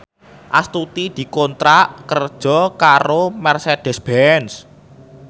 Astuti dikontrak kerja karo Mercedez Benz